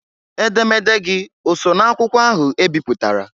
Edemede gị oso n' akwụkwọ ahụ ebiputara?